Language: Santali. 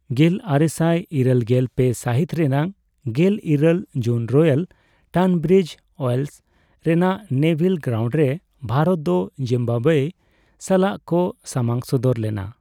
ᱜᱮᱞᱟᱨᱮᱥᱟᱭ ᱤᱨᱟᱹᱞ ᱜᱮᱞ ᱯᱮ ᱥᱟᱦᱤᱛ ᱨᱮᱭᱟᱜ ᱜᱮᱞ ᱤᱨᱟᱹᱞ ᱡᱩᱱ ᱨᱚᱭᱟᱞ ᱴᱟᱱᱵᱨᱤᱡ ᱳᱭᱮᱞᱥ ᱨᱮᱭᱟᱜ ᱱᱮᱵᱷᱤᱞ ᱜᱨᱟᱩᱱᱰ ᱨᱮ ᱵᱷᱟᱨᱚᱛ ᱫᱚ ᱡᱤᱢᱵᱟᱵᱭᱮ ᱥᱟᱞᱟᱜ ᱠᱚ ᱥᱟᱢᱟᱝ ᱥᱚᱫᱚᱨ ᱞᱮᱱᱟ ᱾